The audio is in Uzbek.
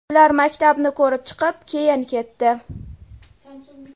Ular maktabni ko‘rib chiqib, keyin ketdi.